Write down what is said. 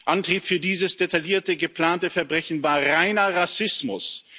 Antrieb für dieses detaillierte geplante Verbrechen war reiner Rassismus.